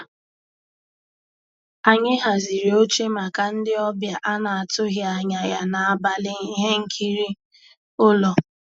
Ànyị́ hàzírí óché màkà ndị́ ọ̀bịá á ná-àtụ́ghị́ ànyá yá n'àbàlí íhé nkírí ụ́lọ́.